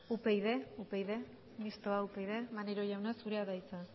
mistoa upyd maneiro jauna zurea da hitza